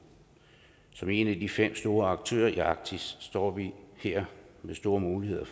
som en af de fem store aktører i arktis står vi her med store muligheder og